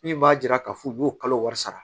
Min b'a jira k'a fɔ u b'o kalo wari sara